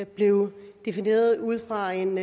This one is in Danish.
blevet defineret ud fra en